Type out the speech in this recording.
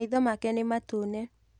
Maitho make nĩmatune.